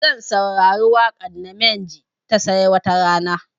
Zan saurari waƙar namenj ta 'sai watarana'